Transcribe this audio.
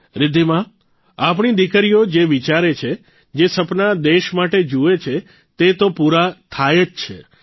રિધ્ધિમા આપણી દીકરીઓ જે વિચારે છે જે સપના દેશ માટે જુએ છે તે તો પૂરા થાય છે જ